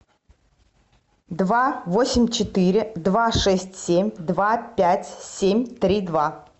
два восемь четыре два шесть семь два пять семь три два